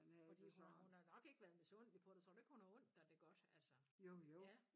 Fordi hun har hun har nok ikke været misundelig på dig tror du ikke hun har undt dig det godt altså? Ja